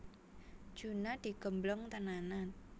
Juna digembleng tenanan